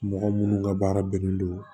Mɔgɔ minnu ka baara bɛnnen don